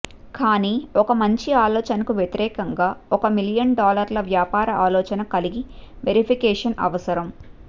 కానీ ఒక మంచి ఆలోచనకు వ్యతిరేకంగా ఒక మిలియన్ డాలర్ల వ్యాపార ఆలోచన కలిగి వెరిఫికేషన్ అవసరం